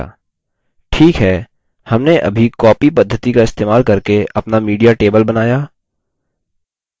ठीक है हमने अभी copy पद्धति का इस्तेमाल करके अपना media table बनाया